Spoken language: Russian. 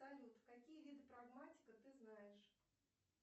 салют какие виды прагматика ты знаешь